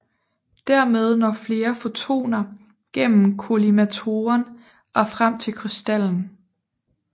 Dermed når flere fotoner gennem kollimatoren og frem til krystallen